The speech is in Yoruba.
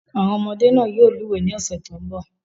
Àwọn ọmọdé náà yóò lúwẹ̀ẹ́ ní ọ̀sẹ̀ tó ń bọ̀.